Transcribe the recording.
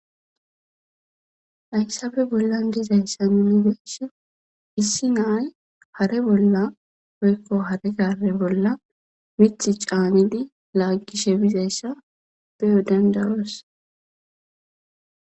hayssafe bollan bizayssa minideshe issi nay hare bolla oykko hare gare bolla mith caanidi laaggishe bizayssa beyo dandayoos.